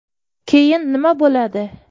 Keyin nima bo‘ladi?